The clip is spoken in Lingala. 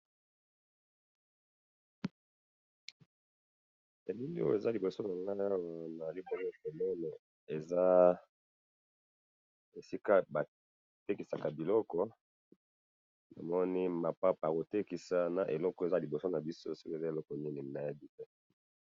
Elili oyo ezali liboso na nga nazali komona eza esika batekisaka biloko namoni mapapa ya kotekisa na eloko oyo ezali liboso na biso soki eza nini nayebi te